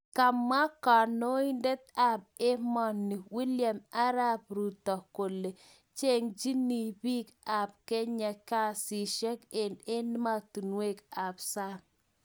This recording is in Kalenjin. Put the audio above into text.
Kamwa kanoindet ab emoni William Arap Ruto kole chengchini bik ab Kenya kasisiek eng' emotunuek ab sang